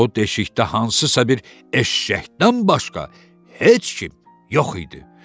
O deşikdə hansısa bir eşşəkdən başqa heç kim yox idi.